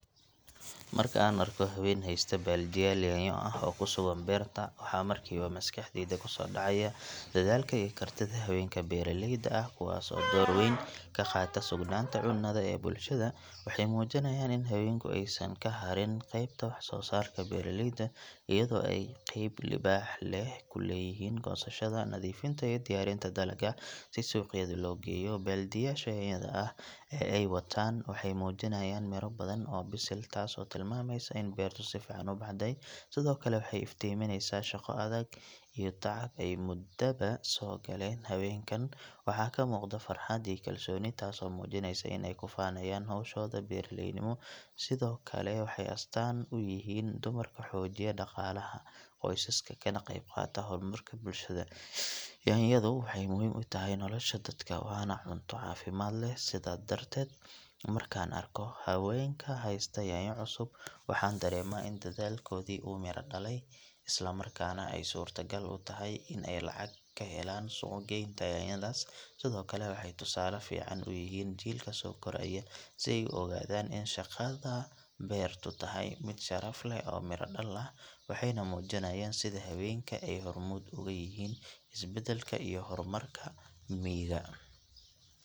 Marka aan arko haween haysta baaldiyaal yaanyo ah oo ku sugan beerta waxaa markiiba maskaxdayda ku soo dhacaya dadaalka iyo kartida haweenka beeraleyda ah kuwaas oo door weyn ka qaata sugnaanta cunnada ee bulshada waxay muujinayaan in haweenku aysan ka hadhin qaybta wax soo saarka beeraleyda iyadoo ay qayb libaax leh ku leeyihiin goosashada, nadiifinta iyo diyaarinta dalagga si suuqyada loo geeyo baaldiyaasha yaanyada ah ee ay wataan waxay muujinayaan miro badan oo bisil taasoo tilmaamaysa in beertu si fiican u baxday sidoo kale waxay iftiiminaysaa shaqo adag iyo tacab ay muddaba soo galeen haweenkan waxaa ka muuqda farxad iyo kalsooni taasoo muujinaysa in ay ku faanayaan hawshooda beeraleynimo sidoo kale waxay astaan u yihiin dumarka xoojiya dhaqaalaha qoysaska kana qeyb qaata horumarka bulshada yaanyadu waxay muhiim u tahay nolosha dadka waana cunto caafimaad leh sidaa darteed markaan arko haweenka haysta yaanyo cusub waxaan dareemaa in dadaalkoodii uu midho dhalay isla markaana ay suurto gal u tahay in ay lacag ka helaan suuq geynta yaanyadaas sidoo kale waxay tusaale fiican u yihiin jiilka soo koraya si ay u ogaadaan in shaqada beertu tahay mid sharaf leh oo miro dhal ah waxayna muujinayaan sida haweenku ay hormuud uga yihiin isbedelka iyo horumarka miyiga.